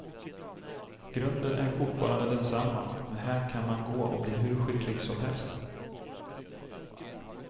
Grunden är fortfarande densamma men här kan man gå och bli hur skicklig som helst.